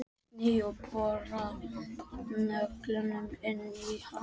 Sný og bora nöglunum inn í hann.